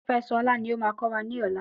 Kofẹsọ̀ Ọlá lo máa kọ́ wa ní ọ̀la.